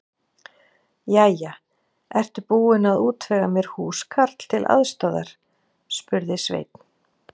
Jæja, ertu búin að útvega mér húskarl til aðstoðar? spurði Sveinn.